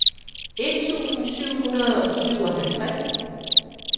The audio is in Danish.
et tusind syv hundrede og syvoghalvtreds